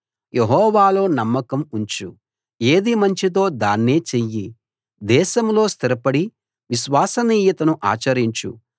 యెహోవాలో నమ్మకం ఉంచు ఏది మంచిదో దాన్నే చెయ్యి దేశంలో స్థిరపడి విశ్వసనీయతను ఆచరించు